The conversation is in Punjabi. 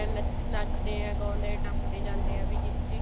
ਨੱਚ ਨੱਚਦੇ ਗਾਉਂਦੇ ਟੱਪਦੇ ਜਾਂਦੇ ਆ ਵੀ ਜਿਹਦਾ